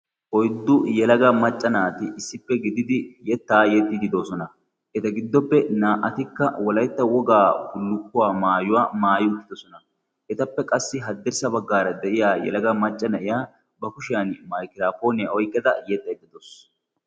oyddu yelaga macca naati issippe gididi yettaa yexxididoosona eta giddoppe naa''atikka walaytta wogaa bullukkuwaa maayuwaa maayi uttidosona etappe qassi haddirssa baggaara de'iya yelaga macca na'iya ba kushiyan maykiraapooniyaa oyqqeda yetta eddadoos